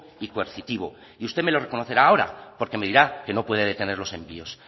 y coercitivo y usted me lo reconocerá ahora y porque me dirá que no puede detener los envíos